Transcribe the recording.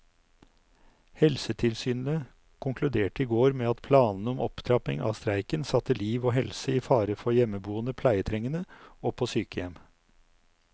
Helsetilsynet konkluderte i går med at planene om opptrapping av streiken satte liv og helse i fare for hjemmeboende pleietrengende og på sykehjem.